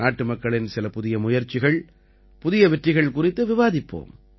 நாட்டு மக்களின் சில புதிய முயற்சிகள் புதிய வெற்றிகள் குறித்து விவாதிப்போம்